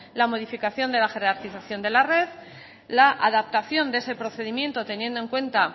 la modificación de la jerarquización de la red la adaptación de ese procedimiento teniendo en cuenta